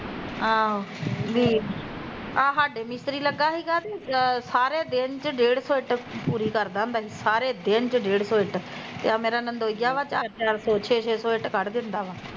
ਆਹੋ ਵੀ ਆਹ ਸਾਡੇ ਮਿਸਤਰੀ ਲਗਾ ਸੀਗਾ ਤੇ ਸਾਰੇ ਦਿਨ ਚ ਡੇਢ ਸੋ ਇੱਟ ਪੂਰੀ ਕਰਦਾ ਹੁੰਦਾ ਸੀ, ਸਾਰੇ ਦਿਨ ਚ ਡੇਢ ਸੋ ਇੱਟ, ਆਹ ਮੇਰਾ ਨਣਦੋਈਆ ਵਾ ਚਾਰ ਚਾਰ ਸੋ ਛੇ ਛੇ ਸੋ ਇੱਟ ਕੱਢ ਦਿੰਦਾ ਵਾ